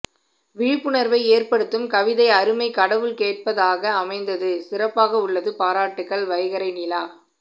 விழிப்புணர்வை ஏற்படுத்தும் கவிதை அருமை கடவுள் கேட்பதாக அமைந்தது சிறப்பாக உள்ளது பாராட்டுகள் வைகறை நிலா